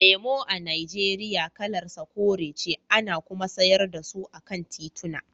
Lemo a Nijeriya kalar sa kore ce, ana kuma sayar da su a kan tituna.